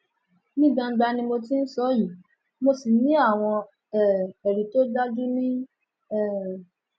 ní gbangba ni mo ti ń sọ ọ yìí mo sì ní àwọn um ẹrí tó dájú ni um